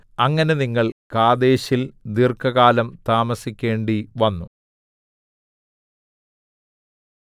അങ്ങനെ നിങ്ങൾ കാദേശിൽ ദീർഘകാലം താമസിക്കേണ്ടിവന്നു